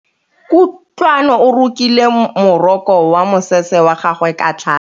Kutlwanô o rokile morokô wa mosese wa gagwe ka tlhale.